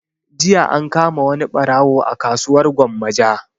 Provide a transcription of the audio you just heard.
Jiya an kama wani ɓarawo a kasuwar gwammaja